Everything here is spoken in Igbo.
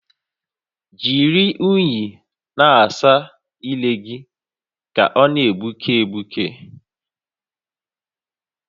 Jiri únyì na-asa ire gị ka ọ na-egbuke egbuke